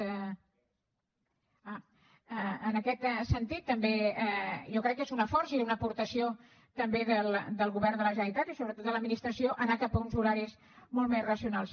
en aquest sentit també jo crec que és una força i una aportació també del govern de la generalitat i sobretot de l’administració anar cap a uns horaris molt més racionals